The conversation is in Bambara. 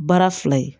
Baara fila ye